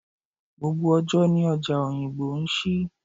Gbogbo ọjọ́ ni ọjà Oyingbo ń ṣí.